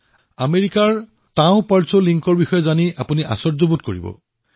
আমেৰিকাৰ টাও পৰ্চনলিঞ্চৰ বিষয়ে শুনি আপুনি আচৰিত হৈ যাব